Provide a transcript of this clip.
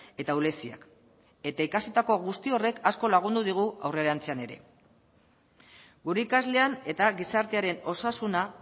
eta ahuleziak eta ikasitako guzti horrek asko lagundu digu aurrerantzean ere gure ikaslean eta gizartearen osasuna